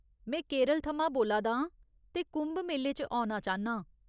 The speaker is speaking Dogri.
में केरल थमां बोला दा आं ते कुंभ मेले च औना चांह्न्नां।